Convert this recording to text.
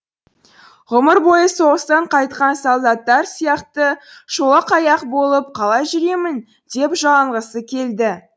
ғұмыр бойы соғыстан қайтқан солдаттар сияқты шолақ аяқ болып қалай жүремін деп жалынғысы келді